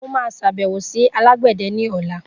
Mo maa sàbẹ̀wò sí alágbẹ̀dè ní ọ̀la